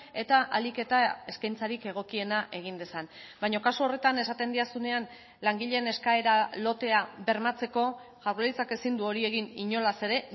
eta ahalik eta eskaintzarik egokiena egin dezan baina kasu horretan esaten didazunean langileen eskaera lotea bermatzeko jaurlaritzak ezin du hori egin inolaz ere